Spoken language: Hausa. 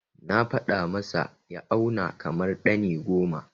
Na faɗa masa ya auna kamar ɗani goma.